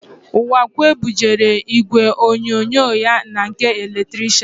Ụwakwe bujere ígwèonyonyo ya na nke eletrishian.